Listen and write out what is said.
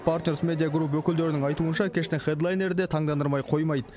партнерс медиа групп өкілдерінің айтуынша кештің хэдлайнері де таңдандырмай қоймайды